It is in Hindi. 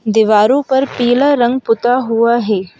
दीवारों पर पीला रंग पुता हुआ है।